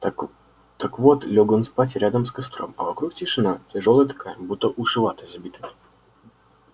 так вот лёг он спать рядом с костром а вокруг тишина тяжёлая такая будто уши ватой забиты